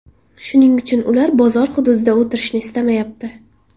Shuning uchun ular bozor hududida o‘tirishni istamayapti.